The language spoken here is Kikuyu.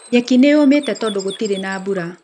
Nyeki nĩyũmĩte tondũ gutirĩ na mbura